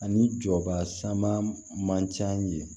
Ani jɔba samaa man ca yen